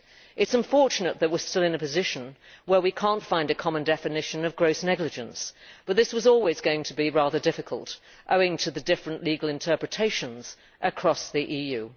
It is unfortunate that we are still in a position where we cannot find a common definition of gross negligence', but this was always going to be rather difficult, owing to the different legal interpretations across the EU.